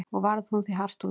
Og varð hún því hart úti.